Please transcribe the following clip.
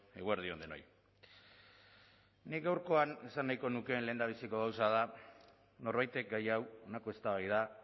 eguerdi on denoi nik gaurkoan esan nahiko nukeen lehendabiziko gauza da norbaitek gai hau honako eztabaida